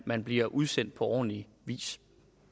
man bliver udsendt på ordentlig vis